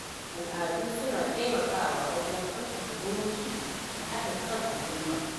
Al’adu suna taimakawa wajen ƙarfafa zumunci da haɗin kan al'umma.